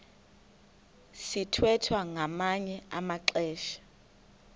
sithwethwa ngamanye amaxesha